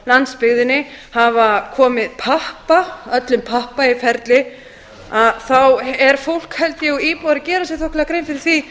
landsbyggðinni hafa komið pappa öllum pappa í ferli þá er fólk held ég og íbúar að gera sér þokkalega grein fyrir því